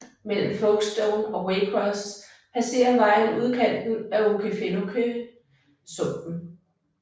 Mellem Folkstone og Waycross passerer vejen udkanten af Okefenokee sumpen